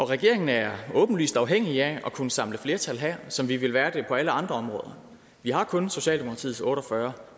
regeringen er åbenlyst afhængig af at kunne samle flertal her som vi vil være det på alle andre områder vi har kun socialdemokratiets otte og fyrre